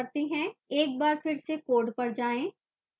एक बार फिर से code पर जाएं